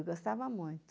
gostava muito